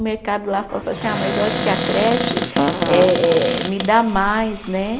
O mercado lá assim, ah mas eu acho que a creche eh eh me dá mais, né?